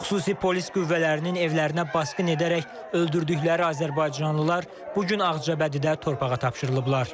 Xüsusi polis qüvvələrinin evlərinə basqın edərək öldürdükləri azərbaycanlılar bu gün Ağcabədidə torpağa tapşırılıblar.